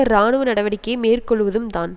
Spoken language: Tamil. இராணுவ நடவடிக்கையை மேற்கொள்ளுவதும்தான்